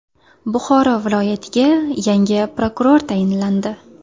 Buxoro viloyatiga yangi prokuror tayinlandi.